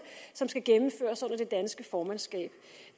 som skal gennemføres under det danske formandsskab